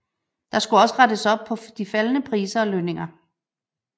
Der skulle rettes op på de faldende priser og lønninger